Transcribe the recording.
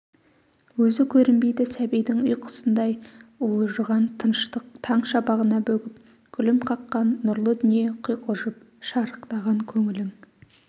өзі көрінбейді сәбидің ұйқысындай уылжыған тыныштық таң шапағына бөгіп күлім қаққан нұрлы дүние құйқылжып шарықтаған көңілің